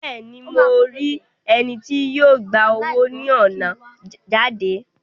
Bẹẹni, Mo ri ẹni tí yó gbà owo ni ọna jáde